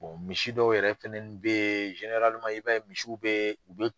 misi dɔw yɛrɛ fɛnɛni bɛ ye i b'a ye misiw bɛ